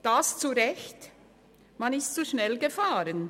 Dies zu Recht – man ist zu schnell gefahren.